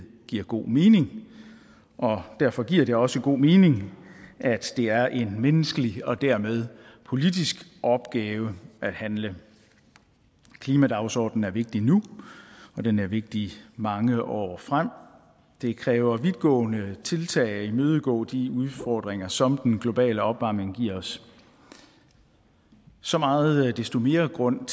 giver god mening derfor giver det også god mening at det er en menneskelig og dermed politisk opgave at handle klimadagsordenen er vigtig nu og den er vigtig mange år frem det kræver vidtgående tiltag at imødegå de udfordringer som den globale opvarmning giver os så meget desto mere grund